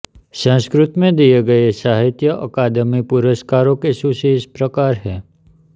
संस्कृत में दिए गए साहित्य अकादमी पुरस्कारों की सूची इस प्रकार है